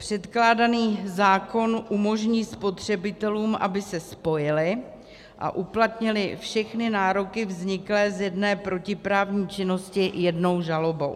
Předkládaný zákon umožní spotřebitelům, aby se spojili a uplatnili všechny nároky vzniklé z jedné protiprávní činnosti jednou žalobou.